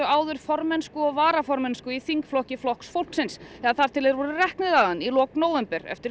áður formennsku og varaformennsku í þingflokki Flokks fólksins þar til þeir voru reknir þaðan í lok nóvember eftir